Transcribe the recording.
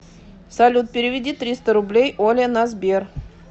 салют переведи триста рублей оле на сбер